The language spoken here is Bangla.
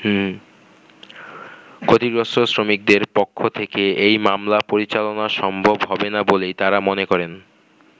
ক্ষতিগ্রস্থ শ্রমিকদের পক্ষ থেকে এই মামলা পরিচালনা সম্ভব হবে না বলেই তারা মনে করেন।